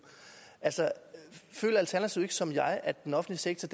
føler alternativet ikke som jeg at den offentlige sektor